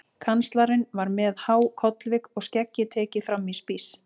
Kanslarinn var með há kollvik og skeggið tekið fram í spíss.